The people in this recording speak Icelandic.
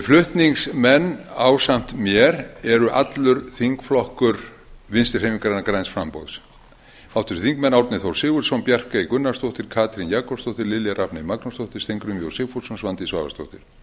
flutningsmenn ásamt mér eru allur þingflokkur vinstri hreyfingarinnar græns framboðs háttvirtir þingmenn árni þór sigurðsson bjarkey gunnarsdóttir katrín jakobsdóttir lilja rafney magnúsdóttir steingrímur j sigfússon og svandís svavarsdóttir